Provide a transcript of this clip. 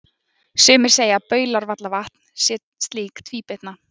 sumir segja að baulárvallavatn sé slík tvíbytna